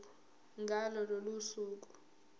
ngalo lolo suku